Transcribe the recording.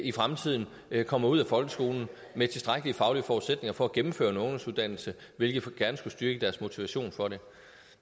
i fremtiden kommer ud af folkeskolen med tilstrækkelige faglige forudsætninger for at gennemføre en ungdomsuddannelse hvilket gerne skulle styrke deres motivation for det